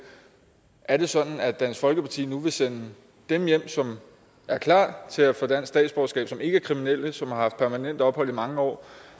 er det sådan at dansk folkeparti nu vil sende dem hjem som er klar til at få dansk statsborgerskab som ikke er kriminelle som har haft permanent ophold i mange år